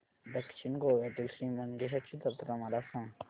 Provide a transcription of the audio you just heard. दक्षिण गोव्यातील श्री मंगेशाची जत्रा मला सांग